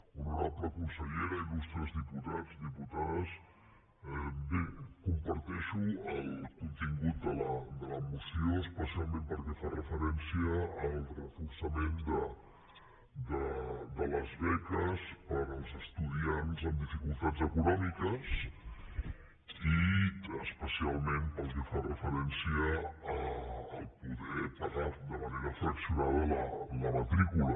honorable consellera il·lustres diputats diputades bé comparteixo el contingut de la moció especialment pel que fa referència al reforçament de les beques per als estudiants amb dificultats econòmiques i especialment pel que fa referència a poder pagar de manera fraccionada la matrícula